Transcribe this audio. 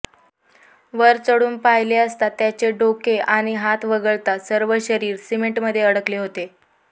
वर चढून पाहिले असता त्याचे डोके आणि हात वगळता सर्व शरीर सिमेंटमध्ये अडकलेले होते